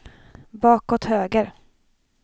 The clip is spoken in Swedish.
bakåt höger